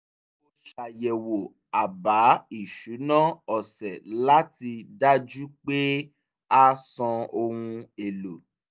mo ṣàyẹ̀wò àbá ìṣúná ọ̀sẹ̀ láti dájú pé a san ohun èlò